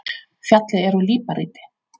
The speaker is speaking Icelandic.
Fjallið er úr líparíti.